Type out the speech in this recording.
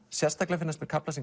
sérstaklega finnast mér kaflar sem